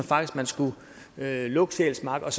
faktisk man skulle lukke sjælsmark og